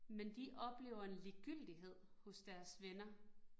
Men de oplever en ligegyldighed hos deres venner